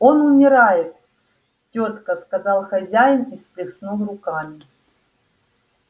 он умирает тётка сказал хозяин и всплеснул руками